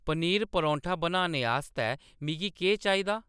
पनीर परौंठा बनाने आस्तै मिगी केह्‌‌ चाहिदा